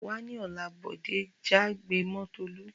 Wá ní òla'!, Bòdé já gbé mó Tolú